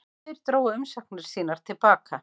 Tveir drógu umsóknir sínar til baka